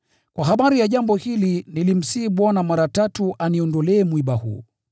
Kwa habari ya jambo hili nilimsihi Bwana mara tatu aniondolee mwiba huu.